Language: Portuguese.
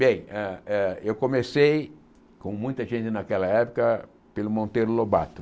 Bem, ah ah eu comecei, como muita gente naquela época, pelo Monteiro Lobato.